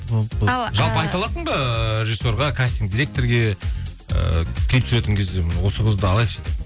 жалпы айталасың ба режиссерға кастинг директорге ыыы клип түсіретін кезде осы қызды алайықшы деп